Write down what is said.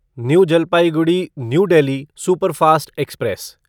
new Jalpaiguri New Delhi superfast express